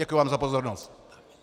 Děkuji vám za pozornost.